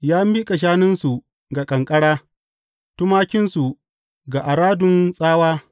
Ya miƙa shanunsu ga ƙanƙara, tumakinsu ga aradun tsawa.